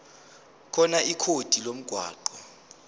khona ikhodi lomgwaqo